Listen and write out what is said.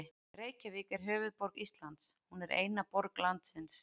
Reykjavík er höfuðborg Íslands. Hún er eina borg landsins.